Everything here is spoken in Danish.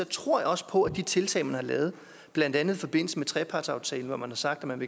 tror jeg også på at de tiltag man har lavet blandt andet i forbindelse med trepartsaftalen hvor man har sagt at man